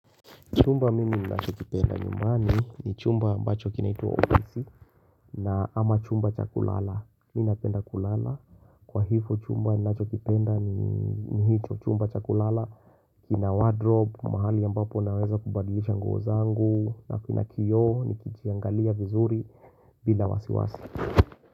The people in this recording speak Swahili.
Chumba mimi ninachokipenda nyumani ni chumba ambacho kinaitwa obesi na ama chumba cha kulala. Mimi napenda kulala kwa hivyo chumba ninachokipenda ni hicho chumba cha kulala kina wardrobe mahali ambapo naweza kubadilisha nguo zangu na kuna kio nikijiangalia vizuri bila wasiwasi.